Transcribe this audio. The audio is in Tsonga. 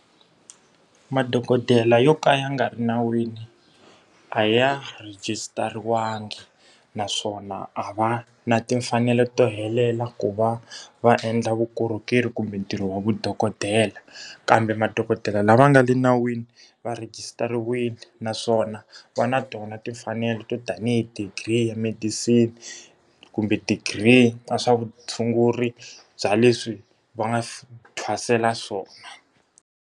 Madokodela yo ka ya nga ri nawini a ya rejistariwanga, naswona a va na timfanelo to helela ku va va endla vukorhokeri kumbe ntirho wa vudokodela. Kambe madokodela lava nga le nawini va regisitariwile, naswona va na tona timfanelo to tanihi degree ya medicine kumbe degree ka swa vutshunguri bya leswi va nga thwasela swona.